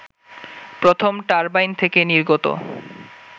প্রথম টারবাইন থেকে নির্গত